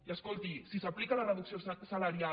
i escolti si s’aplica la reducció salarial